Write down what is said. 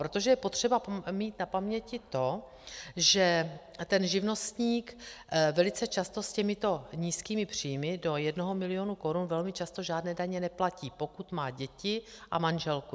Protože je potřeba mít na paměti to, že ten živnostník velice často s těmito nízkými příjmy do jednoho milionu korun velmi často žádné daně neplatí, pokud má děti a manželku.